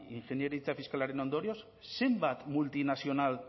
ingeniaritza fiskalaren ondorioz zenbat multinazional